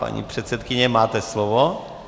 Paní předsedkyně, máte slovo.